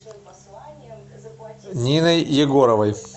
ниной егоровой